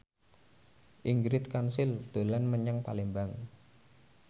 Ingrid Kansil dolan menyang Palembang